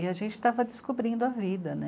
E a gente estava descobrindo a vida, né?